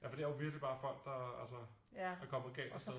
For det er jo virkeligt bare folk der øh der er kommet galt afsted